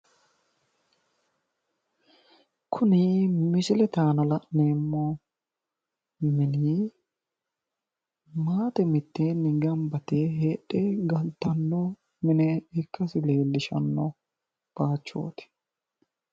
Kuni misilete aana la'neemmo mini maate gamba yite heedhanno galtanno mine ikkasi leellishanno bayichooti